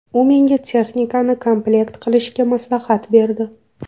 U menga texnikani komplekt qilishni maslahat berdi.